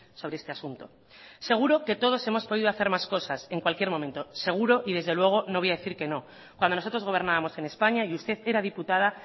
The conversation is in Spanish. sobre este asunto seguro que todos hemos podido hacer más cosas en cualquier momento seguro y desde luego no voy a decir que no cuando nosotros gobernábamos en españa y usted era diputada